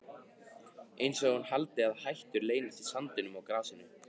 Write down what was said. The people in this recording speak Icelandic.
Einsog hún haldi að hættur leynist í sandinum og grasinu.